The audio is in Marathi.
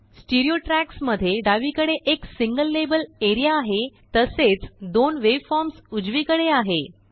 स्टीरियोट्रयाक्स मध्ये डावीकडेएक सिंगल लेबल एरिआ आहे तसेच दोनवेवफॉर्म्स उजवीकडे आहे